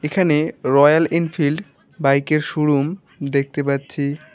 এখানে Royal Enfield বাইকের showroom দেখতে পাচ্ছি।